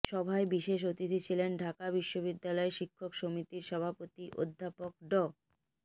সভায় বিশেষ অতিথি ছিলেন ঢাকা বিশ্ববিদ্যালয় শিক্ষক সমিতির সভাপতি অধ্যাপক ড